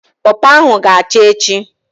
Pọpọ ahụ ga acha echi